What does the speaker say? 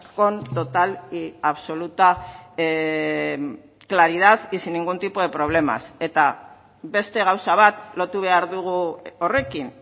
con total y absoluta claridad y sin ningún tipo de problemas eta beste gauza bat lotu behar dugu horrekin